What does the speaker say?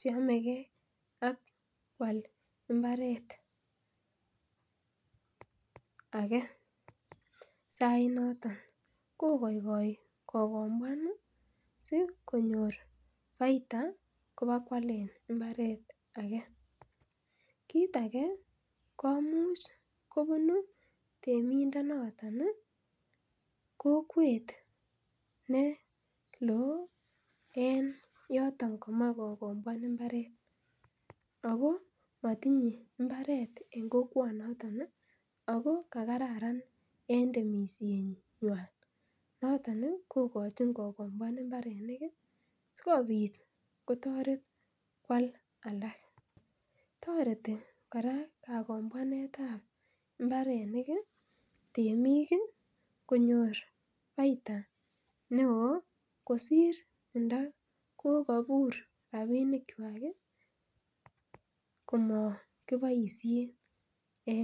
cheamege ak koalda mbaret age. Sait noton kokai kokombuan ih sikonyor baita kobokwalen imbaret age . Kit age komuch kobunu temindet noton ih kokwet neloo en yoton kaame kokombuan imbaret. Ako matinye mbaret age en kokwanoto ih. Noton ih kokochin kokombuan imbernik ih sikobit kotaret koal alak. Kora kakomboanetab imbarenik ih temik ih konyor baita neoo kosir ndakokabur rabinik kuak kokaboisien